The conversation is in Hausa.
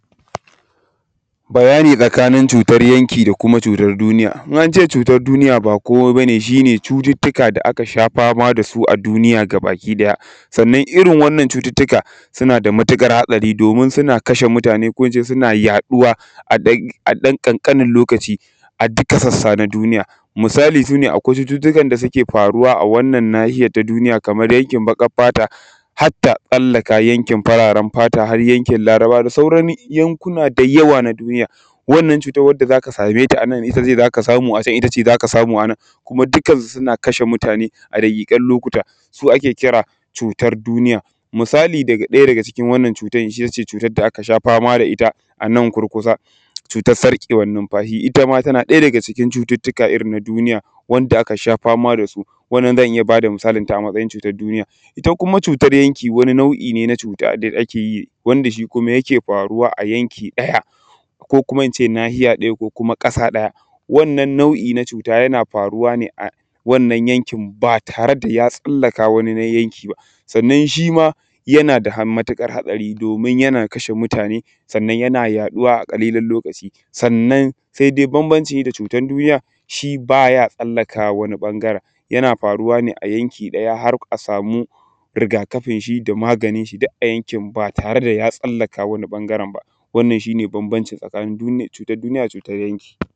Bayani tsakanin cutan yanki da kuma cutan duniya in ance cutar duniya ba komai bane shine cutuka da aka sha fama da su a duniya baki daya sannan irin wannan cututtuka suna da matukar hatsari domin suna kashe mutane koh ince suna yaduwa a dan ƙanƙalin lokaci a duka sassa na duniya misali shine akwai cututtukan da suke faruwa a wannan nahiyan duniyan kaman yankin bakin fata hatta tsallaka yankin fararan fata har yankin larabawa da sauran yankuna da yawa na duniya wannan cutan wanda zaka sameta anan itace zaka sameta acan itane zaka samu anan kuma dukan su suna kashe mutane a dakikan lokuta su ake kira da cutar duniya misali daga daya daga cikin wannan cutar itace cutar da aka sha fama da ita anan kurkusa cutar sar ƙewan nunfasi itama tana daya daga cikin cututtuka irin na duniya wanda aka sha fama dasu wannan zan iya bada misali a matsajin cutar duniya ita kuma cutar yanki wani nau'i ne na cuta wanda akeyi wanda shi kuma yake faruwa a yanki daya koh kuma ince nahiya daya ko kuma ƙasa ɗaya wannan nau'i na cuta fana faruwa ne a wannan yankin ba tare da ya tsallaka wani yanki ba sannan shima yana da han matukar hatsari domin yana kashe mutane sannan yana yaduwa a ƙalilan lokaci sannan saidai babbanci da cutan duniya shi baya tsallakawa wani bangaran shi yana faruwa ne a yanki ɗaya har a samu ruga kafin shi da maganin duk a yankin ba tare da ya tsallaka wani bangaran ba wannan shine babbanci tsakanin cutan duniya cutan yanki